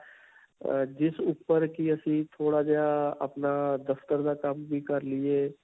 ਜਿਸ ਉਪਰ ਕਿ ਅਸੀਂ ਥੋੜਾ ਜਿਹਾ ਅਅ ਅਪਣਾ ਦਫ਼ਤਰ ਦਾ ਕੰਮ ਵੀ ਕਰ ਲਈਏ.